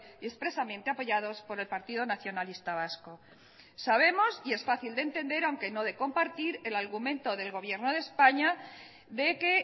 y expresamente apoyados por el partido nacionalista vasco sabemos y es fácil de entender aunque no de compartir el argumento del gobierno de españa de que